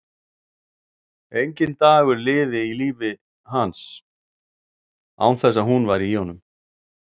Enginn dagur liði í lífi hans án þess að hún væri í honum.